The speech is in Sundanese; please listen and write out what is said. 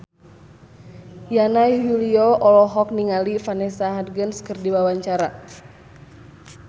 Yana Julio olohok ningali Vanessa Hudgens keur diwawancara